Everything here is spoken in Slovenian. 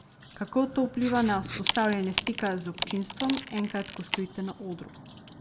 Kako to vpliva na vzpostavljanje stika z občinstvom, enkrat ko stojite na odru?